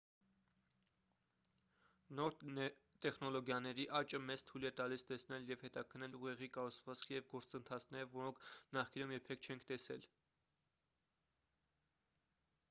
նոր տեխնոլոգիաների աճը մեզ թույլ է տալիս տեսնել և հետաքննել ուղեղի կառուցվածքը և գործընթացները որոնք նախկինում երբեք չենք տեսել